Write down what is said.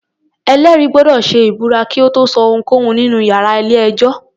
Ẹ̀lẹ́rìí gbọ́dọ̀ ṣe ìbúra kí ó tó sọ ohunkóhun nínú iyàrá ilé-ẹjọ́.